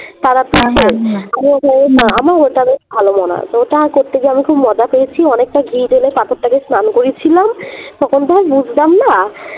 আমার ওটা বেশ ভালো মনে আছে ওটাই করতে গিয়ে আমি খুব মজা পেয়েছি অনেকটা ঘি ঢেলে পাথরটাকে স্নান করিয়েছিলাম তখন তো আমি বুঝতাম না